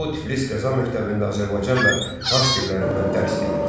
O, Tiflis Qəza məktəbində Azərbaycan və fars dillərindən dərs deyir.